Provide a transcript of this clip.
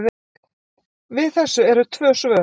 Við þessu eru tvö svör.